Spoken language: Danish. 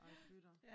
Ej fy da